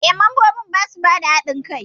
Eh, mambobin basa bada hadin kai.